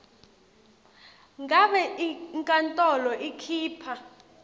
ngabe inkantolo ikhipha